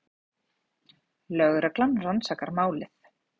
Lögreglan rannsakar málið